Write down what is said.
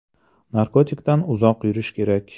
Narkotikdan uzoq yurish kerak.